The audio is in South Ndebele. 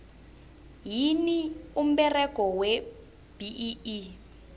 yini umberego webee